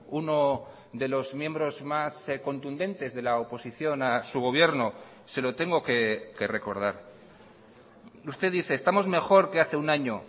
uno de los miembros más contundentes de la oposición a su gobierno se lo tengo que recordar usted dice estamos mejor que hace un año